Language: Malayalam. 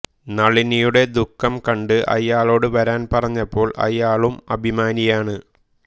നളിനിയുടെ ദുഃഖം കണ്ട് അയാളോട് വരാൻ പറഞ്ഞപ്പോൾ അയാളൂം അഭിമാനിയാണ്